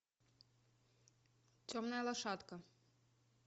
темная лошадка